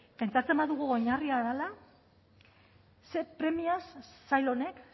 pentsatzen badugu oinarria dela ze premiaz sail honek